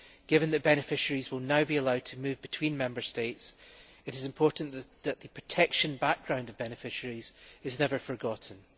Given that beneficiaries will now be allowed to move between Member States, it is important that the protection background of beneficiaries is never forgotten.